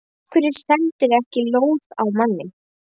Af hverju sendirðu ekki lóð á manninn?